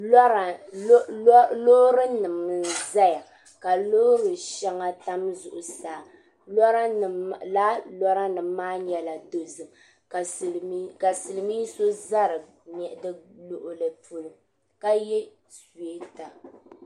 Loori nima n zaya loori sheŋa tam zuɣusaa lala lora nima maa nyɛla dozim ka Silimiin so za di luɣuli polo ka ye suweta.